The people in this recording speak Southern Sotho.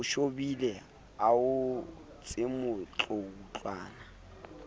o shobile a o entsemotloutlwana